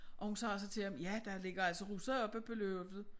Og hun sagde så til ham ja der ligger altså russere oppe på loftet